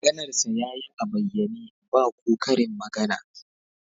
Maganarsa ya yi a bayyane, ba ko karin magana